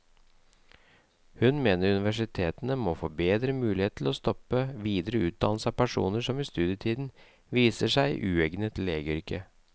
Hun mener universitetene må få bedre muligheter til å stoppe videre utdannelse av personer som i studietiden viser seg uegnet til legeyrket.